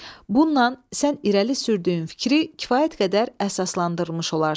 Bununla sən irəli sürdüyün fikri kifayət qədər əsaslandırmış olarsan.